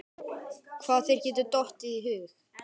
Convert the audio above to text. Hvað þér getur dottið í hug.